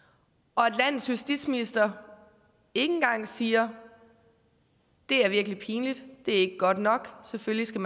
og at landets justitsminister ikke engang siger det er virkelig pinligt det er ikke godt nok selvfølgelig skal